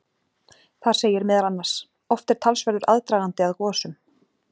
Þar segir meðal annars: Oft er talsverður aðdragandi að gosum.